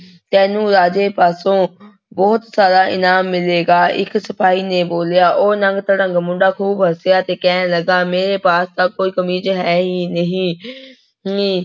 ਤੈਨੂੰ ਰਾਜੇ ਪਾਸੋਂ ਬਹੁਤ ਸਾਰਾ ਇਨਾਮ ਮਿਲੇਗਾ, ਇੱਕ ਸਿਪਾਹੀ ਨੇ ਬੋਲਿਆ, ਉਹ ਨੰਗ ਤੜੰਗ ਮੁੰਡਾ ਖੂਬ ਹੱਸਿਆ ਤੇ ਕਹਿਣ ਲੱਗਾ ਮੇਰੇ ਪਾਸ ਤਾਂ ਕੋਈ ਕਮੀਜ਼ ਹੈ ਹੀ ਨਹੀਂ ਨੀ